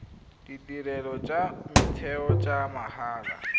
ditirelo tsa motheo tsa mahala